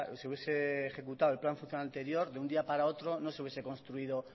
se hubiese ejecutado el plan funcional anterior de un día para otro no se hubiese construido